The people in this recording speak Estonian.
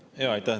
Aitäh!